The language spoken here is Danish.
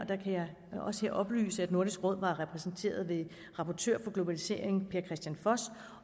oplyse at nordisk råd var repræsenteret ved rapportør per kristian foss